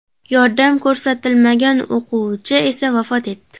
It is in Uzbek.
Yordam ko‘rsatilmagan o‘quvchi esa vafot etdi.